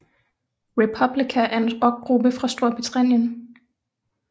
Republica er en Rockgruppe fra Storbritannien